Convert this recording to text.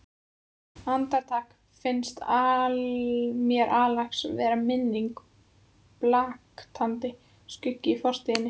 Andartak finnst mér Axel vera minning, blaktandi skuggi í fortíð.